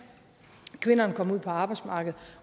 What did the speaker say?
kvinderne kommer ud på arbejdsmarkedet